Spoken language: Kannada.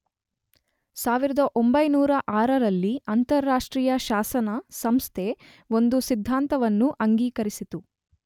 1906ರಲ್ಲಿ ಅಂತಾರಾಷ್ಟ್ರೀಯ ಶಾಸನ ಸಂಸ್ಥೆ ಒಂದು ಸಿದ್ಧಾಂತವನ್ನು ಅಂಗೀಕರಿಸಿತು.